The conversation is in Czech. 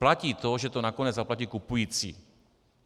Platí to, že to nakonec zaplatí kupující.